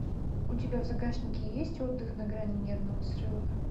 у тебя в загашнике есть отдых на грани нервного срыва